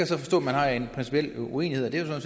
så forstå vi har en principiel uenighed og det